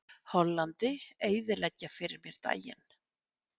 Hollandi eyðileggja fyrir mér daginn.